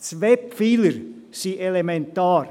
– Zwei Pfeiler sind elementar: